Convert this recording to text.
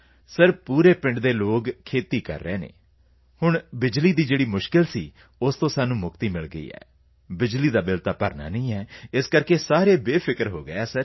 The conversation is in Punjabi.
ਸਰ ਪੂਰੇ ਪਿੰਡ ਦੇ ਲੋਕ ਉਹ ਖੇਤੀ ਕਰ ਰਹੇ ਹਨ ਤਾਂ ਫਿਰ ਸਾਨੂੰ ਬਿਜਲੀ ਦਾ ਜੋ ਮੁਸ਼ਕਿਲ ਸੀ ਉਸ ਤੋਂ ਮੁਕਤੀ ਮਿਲ ਗਈ ਹੈ ਬਿਜਲੀ ਦਾ ਬਿਲ ਤਾਂ ਭਰਨਾ ਨਹੀਂ ਹੈ ਬੇਫਿਕਰ ਹੋ ਗਏ ਹਾਂ ਸਰ